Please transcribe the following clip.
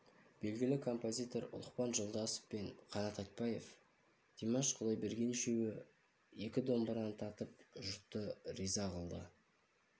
белгілі композитор ұлықпан жолдасов пен қанат айтбаев димаш құдайберген үшеуі екі домбыраны тартып жұртты риза қылды